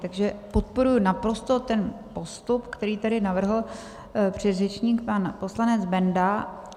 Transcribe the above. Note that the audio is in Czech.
Takže podporuji naprosto ten postup, který tady navrhl předřečník pan poslanec Benda.